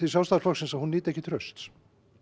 Sjálfstæðisflokksins að hún nyti ekki trausts